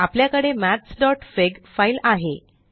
आपल्याकडे mathsफिग फाइल आहे